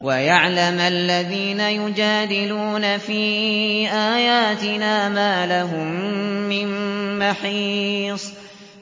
وَيَعْلَمَ الَّذِينَ يُجَادِلُونَ فِي آيَاتِنَا مَا لَهُم مِّن مَّحِيصٍ